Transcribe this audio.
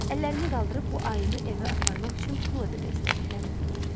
Əllərini qaldırıb bu ayını evə aparmaq üçün pul ödəmək istədiklərini bildirdi.